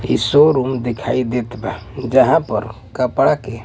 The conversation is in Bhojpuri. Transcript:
इ शोरूम देखाई देत बा जहां पर कपड़ा के --